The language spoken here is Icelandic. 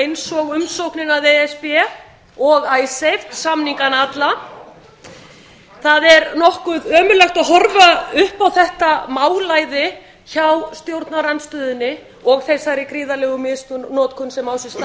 eins og umsóknina að e s b og icesave samningana alla það er nokkuð ömurlegt að horfa upp á þetta málæði hjá stjórnarandstöðunni og þessari gríðarlegu misnotkun sem á sér stað